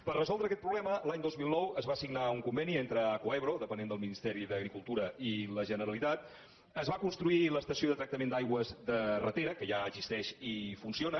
per resoldre aquest problema l’any dos mil nou es va signar un conveni entre acuaebro que depèn del ministeri d’agricultura i la generalitat es va construir l’estació de tractament d’aigües de ratera que ja existeix i funciona